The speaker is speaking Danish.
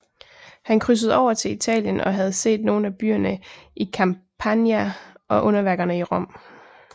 Han krydsede over til Italien og havde set nogen af byerne i Campania og underværkerne i Rom